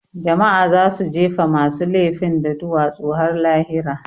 Jama'a za su jefe masu lefin da duwatsu har lahira